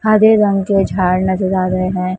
हरे रंग के झाड़ नजर से आ रहे हैं।